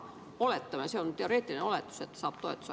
Oletame, see on teoreetiline oletus, et ta saab toetuse.